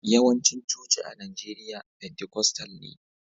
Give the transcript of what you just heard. Yawancin coci-coci a Najeriya pentikostal ne